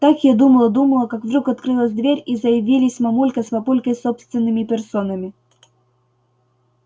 так я думала-думала как вдруг открылась дверь и заявились мамулька с папулькой собственными персонами